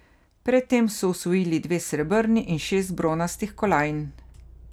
Pred tem so osvojili dve srebrni in šest bronastih kolajn.